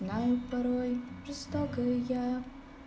нам порой жестокая